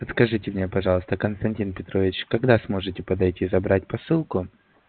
подскажите мне пожалуйста константин петрович когда сможете подойти забрать посылку